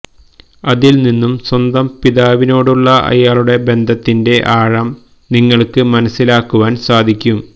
അതിൽ നിന്നും സ്വന്തം പിതാവിനോടുള്ള അയാളുടെ ബന്ധത്തിന്റെ ആഴം നിങ്ങൾക്ക് മനസ്സിലാക്കുവാൻ സാധിക്കും